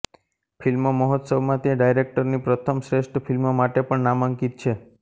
film મહોત્સવમાં તે ડાયરેક્ટરની પ્રથમ શ્રેષ્ઠ ફિલ્મ માટે પણ નામાંકિત છે